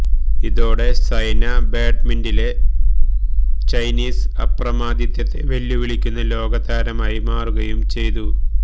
ഇതോടെ സൈന ബാഡ്മിന്റണിലെ ചൈനീസ് അപ്രമാദിത്തത്തെ വെല്ലുവിളിക്കുന്ന ലോകതാരമായി മാറുകയും ചെയ്തു